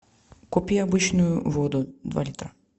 купи обычную воду два литра